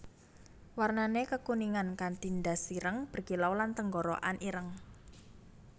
Warnané kekuningan kanti ndas ireng berkilau lan tenggorokan ireng